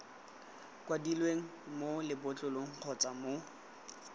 kwadilweng mo lebotlolong kgotsa mo